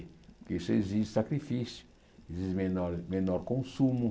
Porque isso exige sacrifício, exige menor menor consumo.